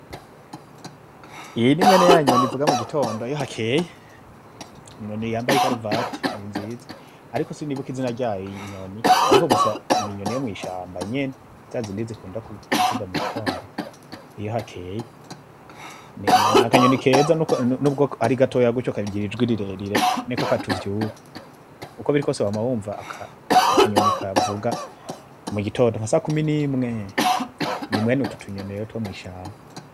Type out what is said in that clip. Iyi nimwene yanyoni ivuga mugatondo iyo hakeye, inyoni yambaye ikaravate nizinza, ariko sinibuka izina ryayo iyi nyoni ariko gusa ninyoni yomwishamba nyene zazindi zikunda kuvuga mugitondo iyo hakeye. Nakanyoni keza nubwo arigatoya gutyo kagira ijwi rirerire niko katuvyura, ukwo birikwose wamawumva kavuga mugitondo nkasakumi nimwe, nimwene utu tunyoni twomishamba.